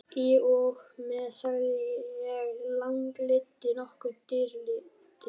Í og með, sagði sá langleiti, nokkuð drýldinn.